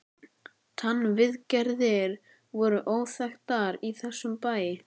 TannVIÐGERÐIR voru óþekktar í þessum bæ.